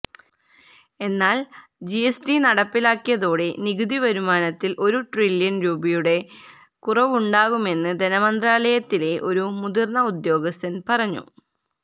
എന്നാല് ജിഎസ്ടി നടപ്പിലാക്കിയതോടെ നികുതി വരുമാനത്തില് ഒരു ട്രില്യണ് രൂപയുടെ കുറവുണ്ടാകുമെന്ന് ധനമന്ത്രാലയത്തിലെ ഒരു മുതിര്ന്ന ഉദ്യോഗസ്ഥന് പറഞ്ഞു